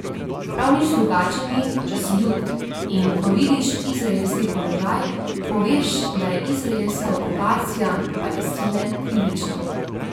Prav nič drugače ni, če si jud in, ko vidiš izraelski položaj, poveš, da je izraelska okupacija Palestine krivična.